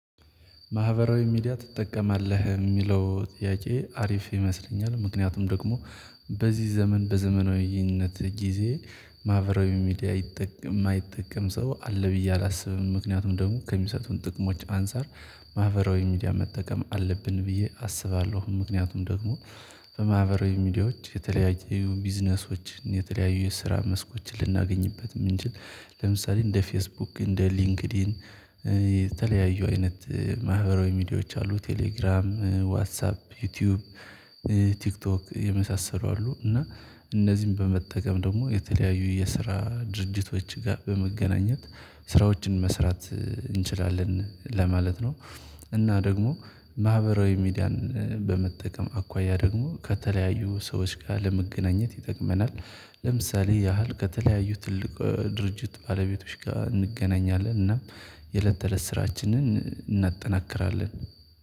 ማህበራዊ ሚዲያ ትጠቀማለህ የሚለው ጥያቄ አሪፍ ይመስለኛል ምክንያቱም ደግሞ በዚህ ዘመን በዘመናዊነት ጊዜ ማህበራዊ ሚዲያ የማይጠቀም ሰው አለ ብዬ አላስብም ምክንያቱም ደግሞ ከሚሰጡን ጥቅሞች አንፃር ማህበራዊ ሚዲያ መጠቀም አለብን ብዬ አስባለሁ። ምክንያቱም ደግሞ በማህበራዊ ሚዲያዎች የተለያዩ ቢዝነሶችን የተለያዩ የስራ መስኮችን ልናገኝበት የምንችል። ለምሳሌ እንደ ፌስቡክ እንደ ሊንክድኢን የተለያዩ አይነት ማህበራዊ ሚዲያዎች አሉ ቴሌግራም ዋትሳፕ ዩቲዩብ ቲክቶክ የመሳሰሉ አሉ። እና እነዚህን በመጠቀም ደግሞ የተለያዩ የስራ ድርጅቶች ጋር በመገናኘት ስራዎችን መስራት እንችላለን ለማለት ነው። እና ደግሞ ማህበራዊ ሚዲያን በመጠቀም አኳያ ደግሞ ከተለያዩ ሰዎች ጋር ለመገናኘት ይጠቅመናል ለምሳሌ ያህል ከተለያዩ ትልቅ ድርጅት ባለቤቶች ጋር እንገናኛለን እና የለት ተለት ስራችንን እናጠናክራለን